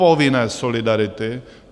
Povinné solidarity!